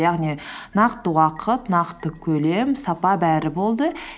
яғни нақты уақыт нақты көлем сапа бәрі болды